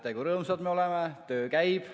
Näete, kui rõõmsad me oleme, töö käib.